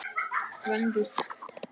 Gvendur og